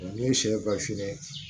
Ne ye sɛ gafe